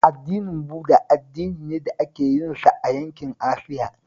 Addinin Buda addini ne da ake yinsa a yankin Asiya